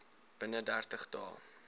binne dertig dae